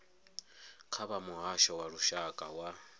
kha muhasho wa lushaka wa